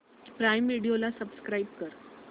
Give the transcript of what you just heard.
prime Video ला subscribe कर